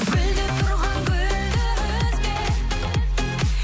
гүлдеп тұрған гүлді үзбе